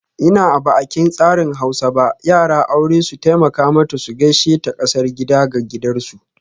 In ba'aƙin tsarin Hausa ba, yara aure su taimaka mata su gaishe ta kasar gida ga gidaresu.